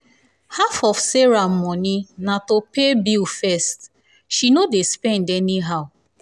half of sarah half of sarah money na to pay bill first she no dey spend any how.